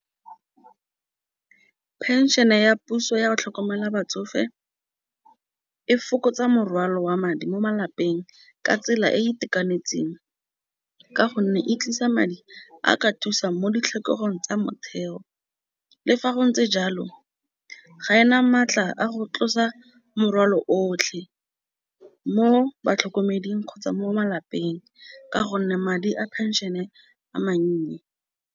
Pension ya puso yago tlhokomela batsofe e fokotsa morwalo wa madi mo malapeng ka tsela e itekanetseng, ka gonne e tlisa madi a ka thusang mo ditlhokego tsa motheo. Le fa go ntse jalo ga ena maatla a go tlosa morwalo otlhe mo batlhokomeding kgotsa mo malapeng ka gonne madi a phenšene a mannye.